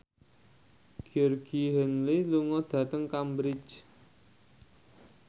Georgie Henley lunga dhateng Cambridge